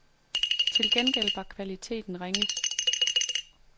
Til gengæld var kvaliteten ringe.